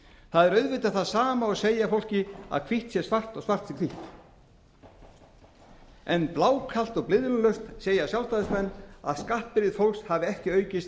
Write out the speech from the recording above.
það er auðvitað það sama og að segja fólki að hvítt sé svart og svart sé hvítt en blákalt og blygðunarlaust segja sjálfstæðismenn að skattbyrði fólks hafi ekki aukist